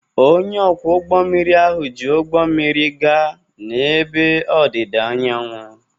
Onye ọkwọ ụgbọ mmiri ahụ ji ụgbọ mmiri gaa n'ebe ọdịda anyanwụ.